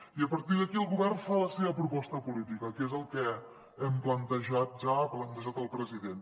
i a partir d’aquí el govern fa la seva proposta política que és el que hem plantejat ja ha plantejat el president